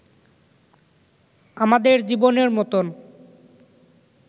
আমাদের জীবনের মতোন